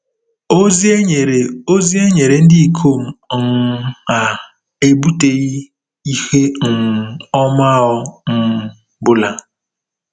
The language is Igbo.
Ozi e nyere Ozi e nyere ndị ikom um a ebuteghị ihe um ọma ọ um bụla.